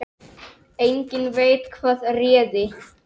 Enginn veit hvað réði.